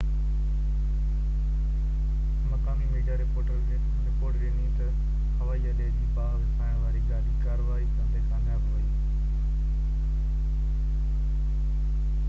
مقامي media report ڏني تہ هوائي اڏي جي باهہ وسائڻ واري گاڏي ڪاروائي ڪندي ڪامياب ويئي